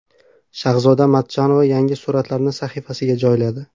Shahzoda Matchonova yangi suratlarini sahifasiga joyladi.